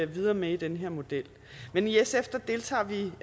videre med i den her model men i sf deltager vi